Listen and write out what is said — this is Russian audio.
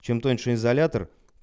чем тоньше изолятор